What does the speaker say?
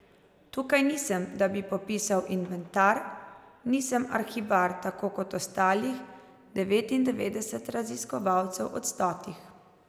Tukaj nisem, da bi popisal inventar, nisem arhivar tako kot ostalih devetindevetdeset raziskovalcev od stotih!